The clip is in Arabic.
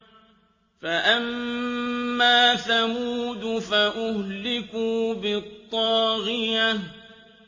فَأَمَّا ثَمُودُ فَأُهْلِكُوا بِالطَّاغِيَةِ